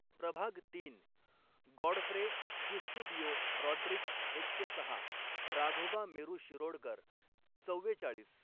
प्रभाग तीन, Godfrey Eusebio Rodrigues एक शे सहा, राघोबा मेरू शिरोडकर, चव्वेचाळीस.